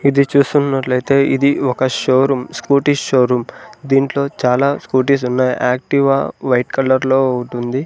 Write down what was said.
ఇది చూస్తున్నట్లు అయితే ఇది ఒక show room scooty show room దీంట్లో చాలా స్కూటీస్ ఉన్నాయ్ యాక్టివా వైట్ కలర్ లో ఒకటుంది.